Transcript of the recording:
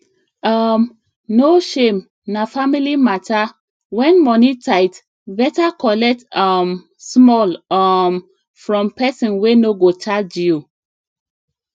um no shame na family matter when money tight better collect um small um from person wey no go charge you